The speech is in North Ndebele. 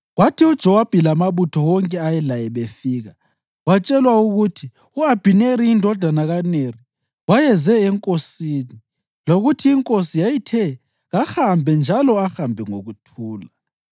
Kwathi uJowabi lamabutho wonke ayelaye befika, watshelwa ukuthi u-Abhineri indodana kaNeri wayeze enkosini lokuthi inkosi yayithe kahambe njalo ahambe ngokuthula.